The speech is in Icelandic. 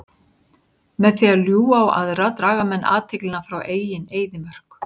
Með því að ljúga á aðra draga menn athyglina frá eigin eyðimörk.